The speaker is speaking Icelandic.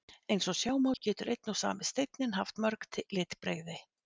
Eins og sjá má getur einn og sami steinninn haft mörg litbrigði.